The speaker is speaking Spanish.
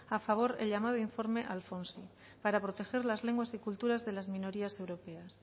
a favor el llamado informe alfonso para proteger las lenguas y cultura de la minorías europeas